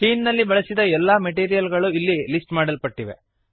scene ನಲ್ಲಿ ಬಳಸಿದ ಎಲ್ಲ ಮೆಟೀರಿಯಲ್ ಗಳು ಇಲ್ಲಿ ಲಿಸ್ಟ್ ಮಾಡಲ್ಪಟ್ಟಿವೆ